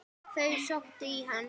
Þau sóttu í hann.